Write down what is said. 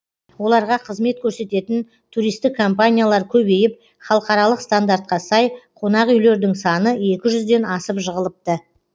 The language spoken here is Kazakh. оларға қызмет көрсететін туристік компаниялар көбейіп халықаралық стандартқа сай қонақүйлердің саны екі жүзден асып жығылыпты